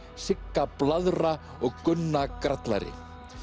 Sigga blaðra og Gunna grallari